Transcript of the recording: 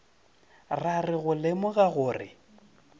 ra re go lemoga gore